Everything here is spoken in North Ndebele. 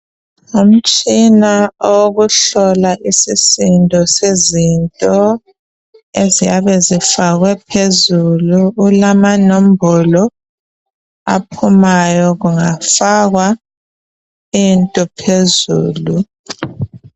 Umtshina owokuhlola isisindo sezinto eziyabe zifakwe phezulu. Kulamanombolo aphumayo kungafakwa into phezulu.